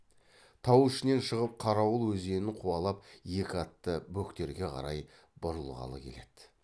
тау ішінен шығып қарауыл өзенін қуалап екі атты бөктерге қарай бұрылғалы келеді